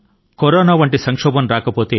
corona సంక్షోభం ఏర్పడకపోతే